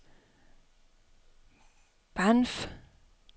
Banff